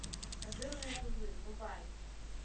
козырные тузы врубай